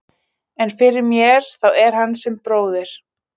En fyrir mér þá er hann sem bróðir.